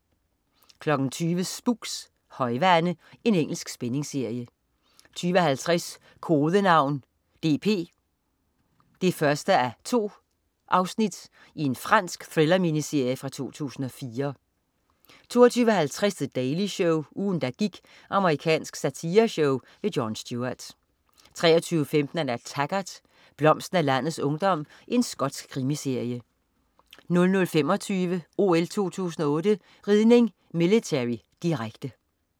20.00 Spooks: Højvande. Engelsk spændingsserie 20.50 Kodenavn DP 1:2. Fransk thriller-miniserie fra 2004 22.50 The Daily Show. Ugen, der gik. Amerikansk satireshow. Jon Stewart 23.15 Taggart: Blomsten af landets ungdom. Skotsk krimiserie 00.25 OL 2008: Ridning, military. Direkte